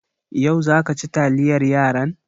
Yau za ka ci taliyar yaran?